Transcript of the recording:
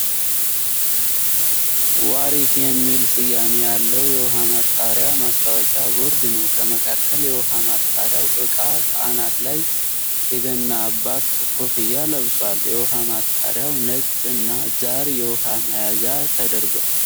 "ዋሪት " የሚል ስያሜ ያለዉ የዉኃ ማጣሪያ ማስታወቂያ ቦርድ ነዉ። ከመካከል የዉኃ ማጣሪያዉ እቃ ከአናት ላይ የገና አባት ኮፍያ ለብሷል። የዉኄ ማጣሪያዉ ነጭ እና ጃር የዉኃ መያዣ ተደርጓል።